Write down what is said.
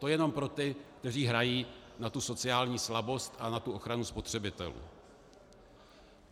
To jen pro ty, kteří hrají na tu sociální slabost a na tu ochranu spotřebitelů.